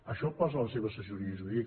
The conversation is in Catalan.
això ho posa la seva assessoria jurídica